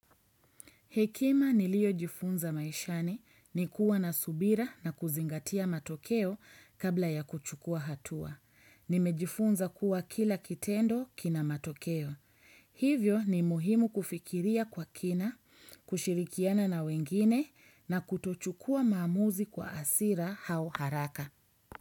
Hekima niliojifunza maishani ni kuwa na subira na kuzingatia matokeo kabla ya kuchukua hatua. Nimejifunza kuwa kila kitendo kina matokeo. Hivyo ni muhimu kufikiria kwa kina, kushirikiana na wengine na kutochukua maamuzi kwa hasira au haraka.